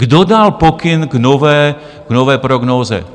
Kdo dal pokyn k nové prognóze?